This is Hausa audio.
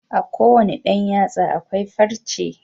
A kowanne Dan yatsa akwai farce